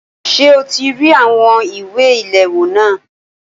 Ṣé o ti rí àwọn ìwé ìléwọ́ náà?